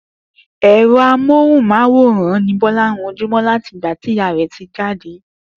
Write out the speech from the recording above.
È̩ro̩ amóhùn-máwòrán ni Bó̩lá ranjú mó̩ láti ìgbà tí ìyá rè̩ ti jáde